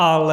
Ale!